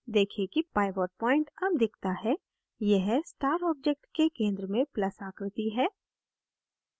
देखें कि pivot point अब दिखता है यह star object के centre में plus आकृति है